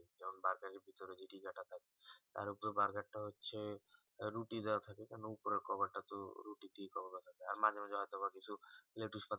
আর charger তা হচ্ছে রুটি দেওয়া থাকে কোনো উপরের cover টা তো রুটি দিয়েই cover করা যাই আর মাঝে মাঝে হয়তো বা কিছু